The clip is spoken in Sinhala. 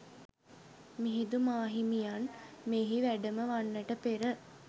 මිහිඳු මාහිමියන් මෙහි වැඩම වන්නට පෙර